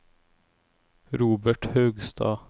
Robert Haugstad